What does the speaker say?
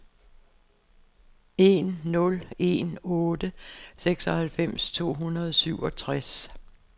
en nul en otte seksoghalvfems to hundrede og syvogtres